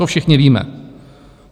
To všichni víme.